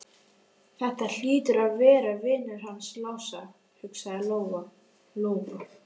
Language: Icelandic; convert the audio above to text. Þetta hlýtur að vera vinur hans Lása, hugsaði Lóa Lóa.